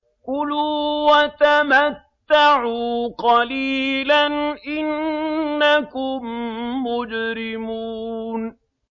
كُلُوا وَتَمَتَّعُوا قَلِيلًا إِنَّكُم مُّجْرِمُونَ